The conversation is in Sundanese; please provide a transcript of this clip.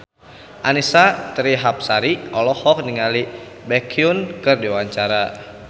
Annisa Trihapsari olohok ningali Baekhyun keur diwawancara